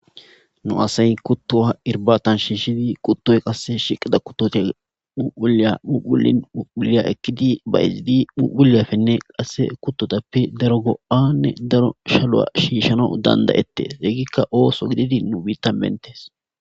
nu asay kutto ha irbatan shiishidi quttoy qasse shiqida kuttote uuyamuulin muulya ekkidi bayizidi mupulyafenne qasse kuttotappe daro goo7anne daro shalu7a shiishano dandayettes egikka ooso gididi nu biittan beettees.